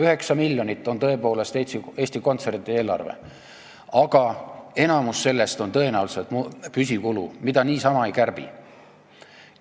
9 miljonit on tõepoolest Eesti Kontserdi eelarve, aga enamik sellest on tõenäoliselt püsikulud, mida niisama ei kärbi.